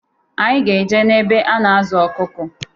Anyị ga eje na-ebe a na-azụ ọkụkụ.